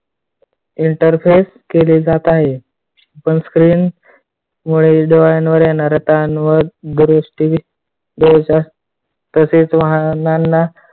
interface केले जात आहे. पण screen मुळे डोळ्यांवर येणारा ताण पण तसेच वाहनांना